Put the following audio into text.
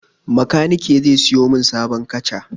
Makanike zai sayo min sabon kaca.